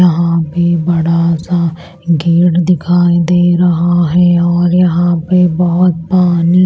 यहां पे बड़ा सा गेट दिखाई दे रहा है और यहां पे बहुत पानी--